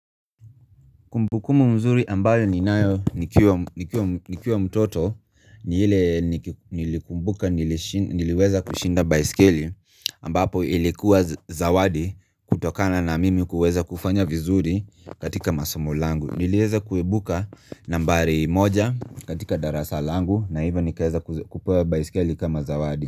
Kumbukumbu mzuri ambayo ninayo nikiwa mtoto ni ile niliweza kushinda baisikeli ambapo ilikuwa zawadi kutokana na mimi kuweza kufanya vizuri katika masomo langu. Niliweza kuibuka nambari moja katika darasa langu na hivyo nikaweza kupewa baisikeli kama zawadi.